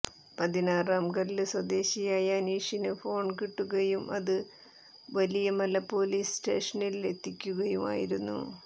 പതിനാറാം കല്ല് സ്വദേശിയായ അനീഷിന് ഫോൺ കിട്ടുകയും അത് വലിയമല പോലീസ് സ്റ്റേഷനിൽ എത്തിക്കുകയുമായിരുന്നു